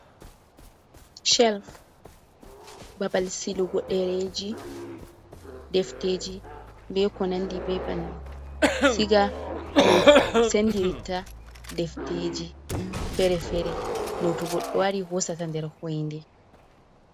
celf babal silugo ɗereeji, defteeji, be ko nandi be banni, siga no senndirita defteeji feere feere, no to goɗɗo wari hoosata, nder hoyinde.